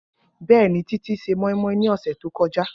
Bẹẹni, Titi se moi-moi ni ọsẹ to kọja.